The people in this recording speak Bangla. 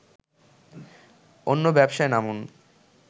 অন্য ব্যবসায় নামুন